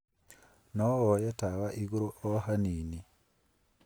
No woye tawa igũrũ o hanini.